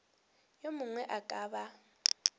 yo mongwe a ka ba